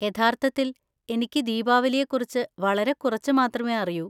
യഥാർത്ഥത്തിൽ, എനിക്ക് ദീപാവലിയെക്കുറിച്ച് വളരെ കുറച്ച് മാത്രമേ അറിയൂ.